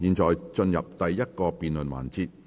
現在進入第一個辯論環節。